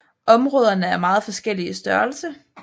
Områderne er meget forskellige i størrelse